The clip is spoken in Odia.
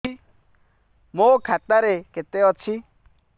ମୋ ଖାତା ରେ କେତେ ଅଛି